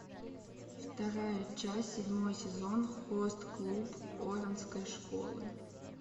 вторая часть седьмой сезон хост клуб оранской школы